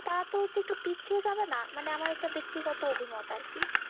তারা তো হচ্ছে একটু পিছিয়ে যাবে না? মানে আমার এটা ব্যাক্তিগত অভিমত আরকি।